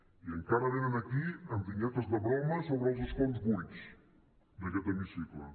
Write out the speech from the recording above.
i encara venen aquí amb vinyetes de broma sobre els escons buits d’aquest hemicicle